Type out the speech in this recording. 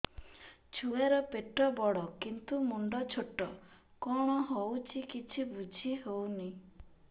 ଛୁଆର ପେଟବଡ଼ କିନ୍ତୁ ମୁଣ୍ଡ ଛୋଟ କଣ ହଉଚି କିଛି ଵୁଝିହୋଉନି